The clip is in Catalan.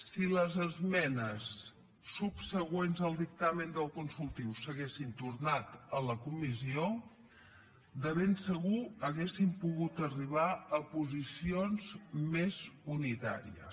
si les esmenes subsegüents al dictamen del consultiu s’haguessin tornat a la comissió de ben segur hauríem pogut arribar a posicions més unitàries